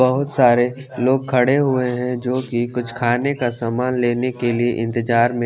बहुत सारे लोग खड़े हुए है जो की कुछ खाने का सामान लेने के लिए इंतेज़ार में--